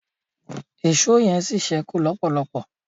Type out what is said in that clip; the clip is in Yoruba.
Èṣó yen sí sẹku lọpọlọpọ